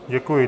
Děkuji.